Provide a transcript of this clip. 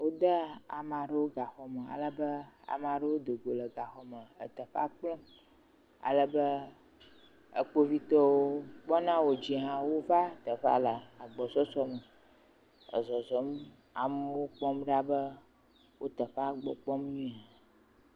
Wode amea ɖewo gaxɔme alebe amea ɖewo do go le gaxɔa me le teɔea kplɔm alebe kpovitɔ yiwo kpɔna wo dzi hã, wova teƒea le agbɔsɔsɔ me ezɔzɔm, amewo kpɔm ɖa be wo teƒea gbɔ kpɔm nyuie hã.